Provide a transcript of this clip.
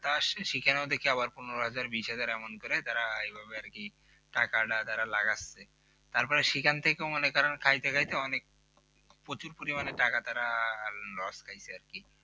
তা অবশ্যই সেখানেও দেখি পনোরো হাজার বিশ হাজার এমন করে যারা এইভাবে টাকাটা তারা লাগাচ্ছে তারপর সেখান থেকে মনে করেন খাইতে খাইতে অনেক প্রচুর পরিমাণে টাকা তারা loss খাইছে আর কি।